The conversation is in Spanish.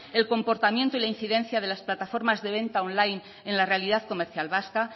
el comportamiento y la incidencia de las plataformas de venta online en la realidad comercial vasca